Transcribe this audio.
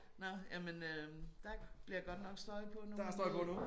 Nåh jamen øh der bliver godt støj på nu her